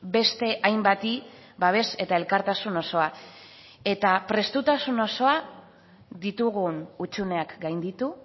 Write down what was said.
beste hainbati babes eta elkartasun osoa eta prestutasun osoa ditugun hutsuneak gainditu